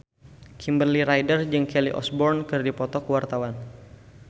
Kimberly Ryder jeung Kelly Osbourne keur dipoto ku wartawan